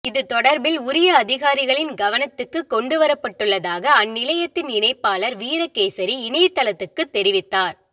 இது தொடர்பில் உரிய அதிகாரிகளின் கவனத்துக்குக் கொண்டுவரப்பட்டுள்ளதாக அந்நிலையத்தின் இணைப்பாளர் வீரகேசரி இணையத்தளத்துக்குத் தெரிவித்தார்